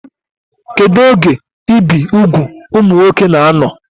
Kedụ oge ibi úgwù ụmụ nwoke na-anọ?